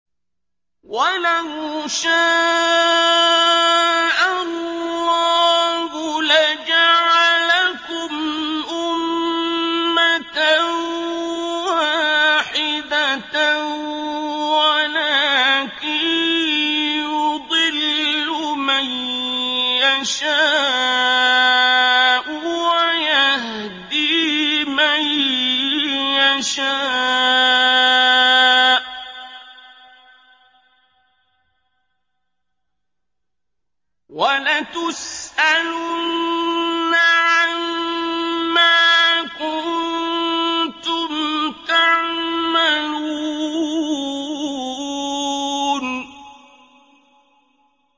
وَلَوْ شَاءَ اللَّهُ لَجَعَلَكُمْ أُمَّةً وَاحِدَةً وَلَٰكِن يُضِلُّ مَن يَشَاءُ وَيَهْدِي مَن يَشَاءُ ۚ وَلَتُسْأَلُنَّ عَمَّا كُنتُمْ تَعْمَلُونَ